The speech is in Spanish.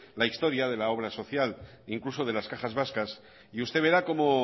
la historia de la obra social incluso de las cajas vascas y usted verá como